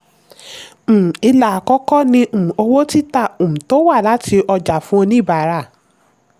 um ilà àkọ́kọ́ ni um owó títà um tó wá láti ọjà fún oníbárà.